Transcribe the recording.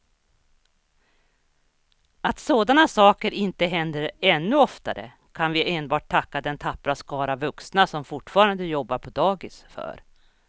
Att sådana saker inte händer ännu oftare kan vi enbart tacka den tappra skara vuxna som fortfarande jobbar på dagis för.